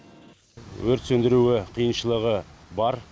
өрт сөндіруі қиыншылығы бар